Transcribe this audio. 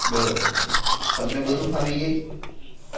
બરોબર છે. તમને બધુ ફાવી જાય?